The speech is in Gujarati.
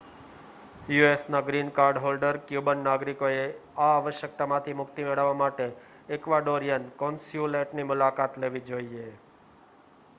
યુએસના ગ્રીન કાર્ડ હોલ્ડર ક્યુબન નાગરિકોએ આ આવશ્યકતામાંથી મુક્તિ મેળવવા માટે એક્વાડોરિયન કૉન્સ્યુલેટની મુલાકાત લેવી જોઈએ